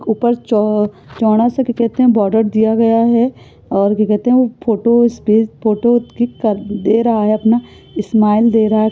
ऊपर चों चोंडा सा क्या कहते हैं बॉर्डर दिया गया है और क्या कहते हैं वो फोटो स्पेस फोटो दे रहा है अपना। इस्माइल दे रहा है।